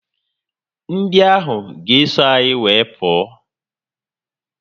Ndị ahụ ga eso anyị wee pụọ